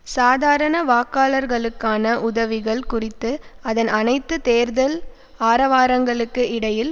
சாதாரண வாக்காளர்களுக்கான உதவிகள் குறித்து அதன் அனைத்து தேர்தல் ஆரவாரங்களுக்கு இடையில்